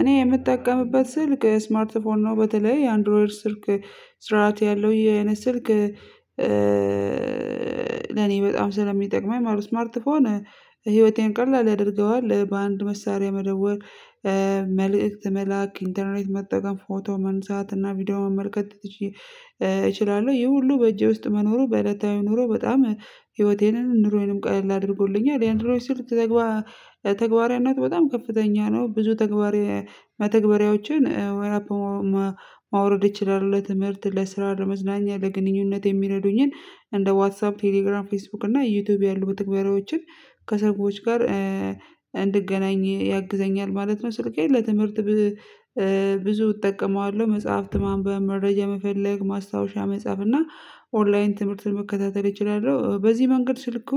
እኔ የምጠቀምበት ስልክ ስማርት ፎን ነው በተለይ አንድሮይድ ስልክ ስርዓት ያለው ይህ አይነት ስልክ ለኔ በጣም ስለሚጠቅመኝ ማለት ነው። ስማርት ስልክ ህይወቴን ቀላል ያደርገዋል በአንድ መሳሪያ መደወል ምልእክት መላክ፣ ኢንተርኔት መጠቀም፣ ፎቶ ማንሳት እና ቪዲዮ መመከት ትቼ እችላለሁ። ይሄ ሁሉ በእጄ ውስጥ መኖሩ በእለታዊ ኑሮ በጣም ህይወቴንም ኑሮዬንም ቀይል አድርጎልኛል። ያንድሮይድ ስልክ ትግባ ተግባራዊነቱ በጣም ከፍተኛ ነው ብዙ ተግባራዊ መተግበሪያዎችን ወይ ማውረድ ይችላል። ለትምህርት፣ ለስራ፣ ለመዝናኛ፣ ለግንኙነት የሚረዱኝን እንደ ዋትሳፕ፣ ቴሌግራም፣ ፌስቡክ እና ዩቲዩብ ያሉ በተግባራዎችን ከሰዎች ጋር እንድገናኝ ያግዘኛል ማለት ነው። ስልኬን ለትምህርት ብዙ እጠቀመዋለሁ። መጽሐፍት ማንበብ፣ መረጃ መፈለግ፣ ማስታወሻ መጻፍ እና ኦንላይን ትምህርትን መከታተል እችላለሁ። በዚህ መንገድ ስልኩ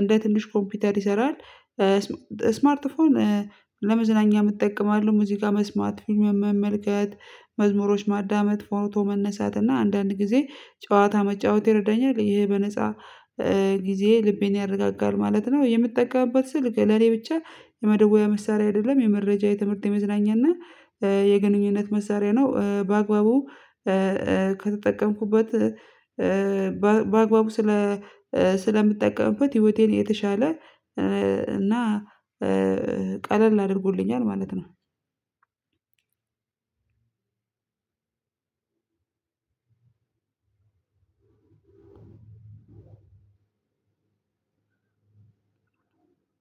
እንደ ትንሽ ኮምፒውተር ይሰራል። ስማርት ስልክ ለመዝናኛም እጠቀማለሁ ሙዚቃ መስማት፣ መመልከት መዝሙሮች ማዳመጥ፣ ፎቶ መነሳት እና አንዳንድ ጊዜ ጨዋታ መጫወት ይረዳኛል። ይሄ በነፃ ጊዜ ልቤን ያረጋጋል ማለት ነው። የምጠቀምበት ስልክ ለኔ ብቻ የመደወያ መሳሪያ አይደለም የመረጃ፣ የትምህርት፣ የመዝናኛና የግንኙነት መሳሪያ ነው በአግባቡ ከተጠቀምኩበት በአግባቡ ስለ ስለምጠቀምበት ህይወቴን የተሻለ እና ቀለል አድርጎልኛል ማለት ነው።